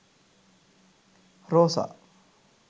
rosa